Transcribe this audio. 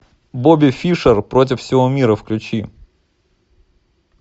бобби фишер против всего мира включи